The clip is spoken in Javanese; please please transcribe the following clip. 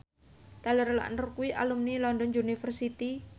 Taylor Lautner kuwi alumni London University